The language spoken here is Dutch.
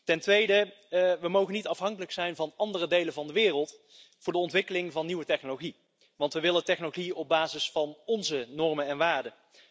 Ten tweede we mogen niet afhankelijk zijn van andere delen van de wereld voor de ontwikkeling van nieuwe technologie, want we willen technologie op basis van onze normen en waarden.